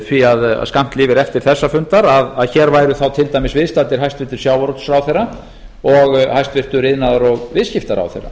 því að skammt lifir eftir þessa fundar að hér væru þá viðstaddir til dæmis sjávarútvegsráðherra og hæstvirtur iðnaðar og viðskiptaráðherra